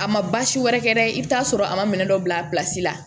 A ma baasi wɛrɛ kɛ dɛ i bi taa sɔrɔ a ma minɛn dɔ bila la